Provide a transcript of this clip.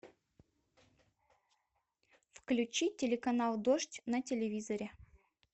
включи телеканал дождь на телевизоре